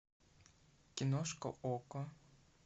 киношка окко